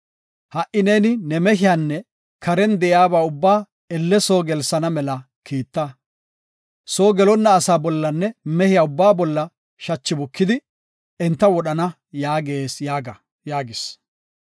Ha77i neeni ne mehiyanne karen de7iyaba ubbaa elle soo gelsana mela kiitta. Soo gelonna asaa bollanne mehiya ubbaa bolla shachi bukidi, enta wodhana yaagees’ yaaga” yaagis.